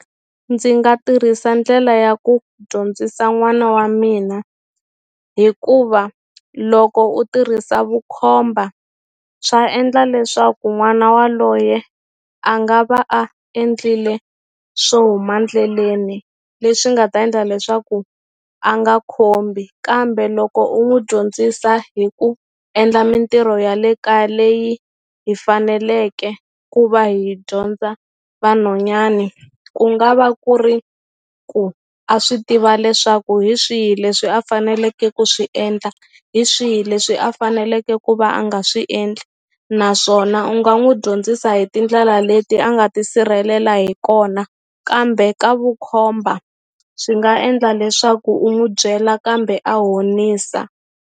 Ndzi nga tirhisa ndlela ya ku dyondzisa n'wana wa mina hikuva loko u tirhisa vukhomba swa endla leswaku n'wana waloye a nga va a endlile swo huma endleleni leswi nga ta endla leswaku a nga khombi kambe loko u n'wu dyondzisa hi ku endla mintirho ya le kaya leyi hi faneleke ku va hi dyondza vanhwanyani ku nga va ku ri ku a swi tiva leswaku hi swihi leswi a faneleke ku swi endla hi swihi leswi a faneleke ku va a nga swi endli naswona u nga n'wu dyondzisa hi tindlela leti a nga tisirhelela hi kona kambe ka vukhomba swi nga endla leswaku u n'wu byela kambe a honisa.